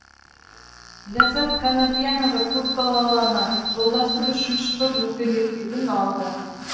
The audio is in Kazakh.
ләззат қанапиянова көпбалалы ана жолдасым үшінші топ мүгедектігін алды